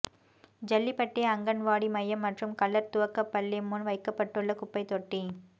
ஜல்லிபட்டி அங்கன்வாடி மையம் மற்றும் கள்ளா் துவக்கப்பள்ளி முன் வைக்கப்பட்டுள்ள குப்பைத்தொட்டி